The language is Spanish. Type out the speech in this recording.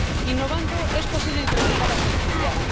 Innovando es posible incrementar la selectividad.